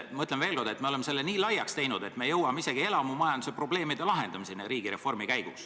Ma ütlen veel kord, et me oleme selle nii laiaks teinud, et me jõuame riigireformi käigus isegi elamumajanduse probleemide lahendamiseni.